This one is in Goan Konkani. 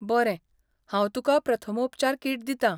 बरें, हांव तुका प्रथमोपचार किट दितां.